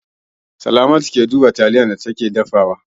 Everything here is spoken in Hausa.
Salamatu, Ki duba taliyar da kike dafawa!